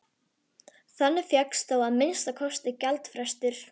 Þannig fékkst þó að minnsta kosti gjaldfrestur.